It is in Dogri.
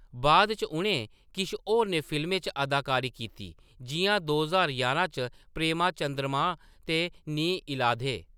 बाद च, उʼनें किश होरनें फिल्में च अदाकारी कीती, जिʼयां दो ज्हार यारां च प्रेमा चंद्रमा ते नी इलाधे।